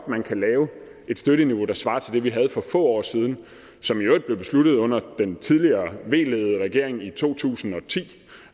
man kan lave et støtteniveau der svarer til det vi havde for få år siden som i øvrigt blev besluttet under den tidligere v ledede regering i to tusind og ti